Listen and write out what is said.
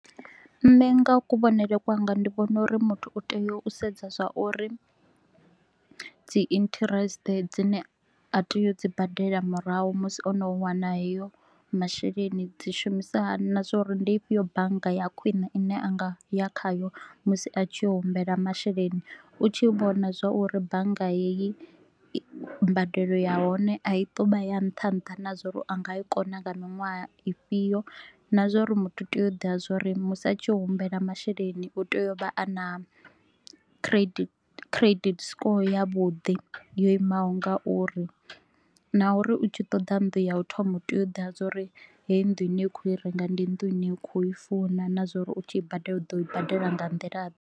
Nṋe nga kuvhonele kwanga ndi vhona uri muthu u tea u sedza zwa uri dzi interest dzine a tea u dzi badela murahu musi o no wana heyo masheleni, dzi shumisa hani na zwa uri ndi ifhio bannga ya khwine ine a nga ya khayo musi a tshi humbela masheleni. U tshi vhona zwa uri bannga heyi mbadelo ya hone a i to u vha ya nṱha nṱha na zwa uri a nga i kona nga miṅwaha ifhio na zwa uri muthu u tea u ḓivha zwa uri musi a tshi ya u humbela masheleni u tea u vha a na credit credit score ya vhuḓi yo imaho ngauri. Na uri u tshi ṱoḓa nnḓu ya u thoma u tea u ḓivha zwa uri heyi nnḓu ine u khou i renga ndi nnḓu ine u kho i funa na zwa uri u tshi i badela u ḓo i badela nga nḓila ḓe